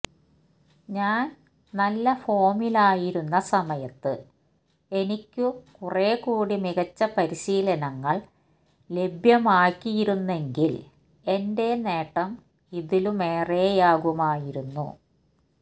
ഞാന് നല്ല ഫോമിലായിരുന്ന സമയത്ത് എനിക്കു കുറേക്കൂടി മികച്ച പരിശീലനങ്ങള് ലഭ്യമാക്കിയിരുന്നെങ്കില് എന്റെ നേട്ടം ഇതിലുമേറെയാകുമായിരുന്നു